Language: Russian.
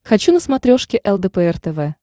хочу на смотрешке лдпр тв